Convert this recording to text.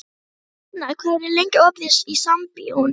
Hjarnar, hvað er lengi opið í Sambíóunum?